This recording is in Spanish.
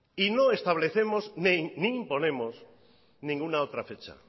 y no establecemos ni imponemos ninguna otra fecha